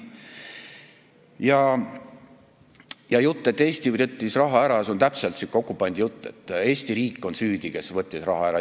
Ja jutt, et Eesti võttis raha ära – see on täpselt säärane okupandi jutt, et Eesti riik on süüdi, sest ta võttis raha ära.